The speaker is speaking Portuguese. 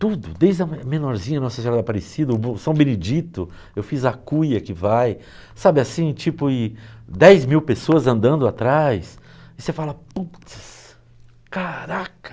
Tudo, desde a menorzinha, Nossa Senhora de Aparecida, São Benedito, eu fiz a cuia que vai, sabe assim, tipo e dez mil pessoas andando atrás, e você fala, putz, caraca!